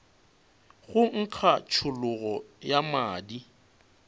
go nkga tšhologo ya madi